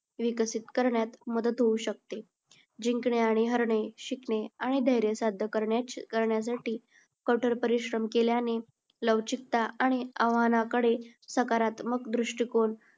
विकसित करण्यात मदत होऊ शकते. जिंकणे आणि हारणे, शिकणे आणि धैर्य साध्य करण्यासाठी कठोर परिश्रम केल्याने लवचिकता आणि आव्हानाकडे सकारात्मक दृष्टिकोन